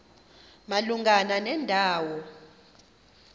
malunga nenda wo